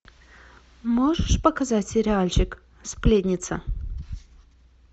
можешь показать сериальчик сплетница